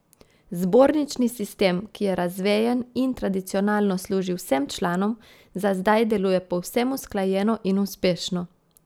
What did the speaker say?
Zbornični sistem, ki je razvejen in tradicionalno služi vsem članom, za zdaj deluje povsem usklajeno in uspešno.